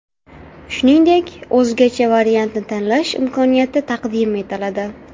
Shuningdek, o‘zgacha variantni tanlash imkoniyati taqdim etiladi.